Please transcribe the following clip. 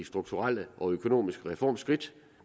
strukturelle og økonomiske reformskridt